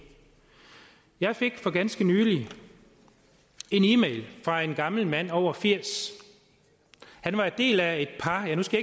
jeg fik for ganske nylig en e mail fra en gammel mand over firs han var en del af et par eller nu skal